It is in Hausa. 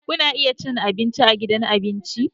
Kuna iya cin abinci a gidan abinci.